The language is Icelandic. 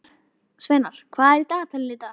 Sveinar, hvað er í dagatalinu í dag?